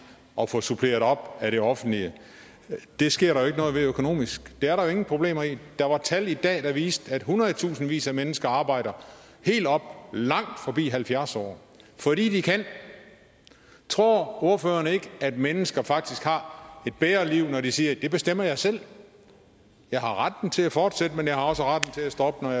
og få suppleret op af det offentlige det sker der ikke noget ved økonomisk det er der jo ingen problemer i der er tal i dag der viser at hundredtusindvis af mennesker arbejder helt op langt forbi halvfjerds år fordi de kan tror ordføreren ikke at mennesker faktisk har et bedre liv når de siger det bestemmer jeg selv jeg har retten til at fortsætte jeg har også retten til at stoppe når